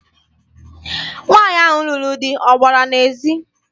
Nwaanyị ahụ lụrụ di ọ gbara n'ezi?